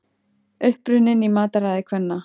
Uppruninn í mataræði kvenna